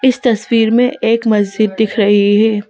इस तस्वीर में एक मस्जिद दिख रही है।